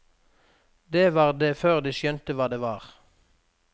Det var der før de skjønte hva det var.